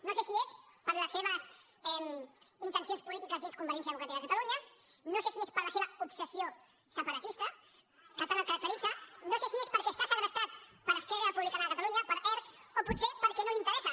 no sé si és per les seves intencions polítiques dins convergència democràtica de catalunya no sé si és per la seva obsessió separatista que tant el caracteritza no sé si és perquè està segrestat per esquerra republicana de catalunya per erc o potser perquè no li interessa